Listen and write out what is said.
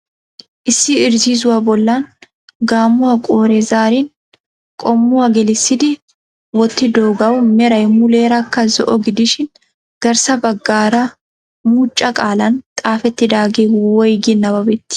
Issi irzziizzuwa bollan gaammuwa qoore zaarin qommuwa gellissidi wottidoogaw meray muleerakka zo"o gidishin garssa baggaara muucca qaalan xaafetidaage woyggi nabbabetii?